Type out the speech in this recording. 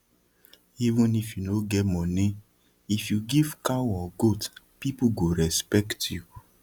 even if you no get money if you give cow or goat people go respect you